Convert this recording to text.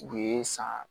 U ye san